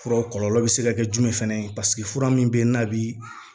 Furaw kɔlɔlɔ bɛ se ka kɛ jumɛn fana ye paseke fura min bɛ ye n'a bi